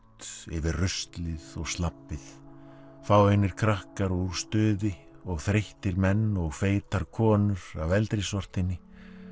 yfir ruslið og slabbið fáeinir krakkar úr stuði og þreyttir menn og feitar konur af eldri sortinni